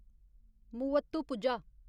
Muvattupuzha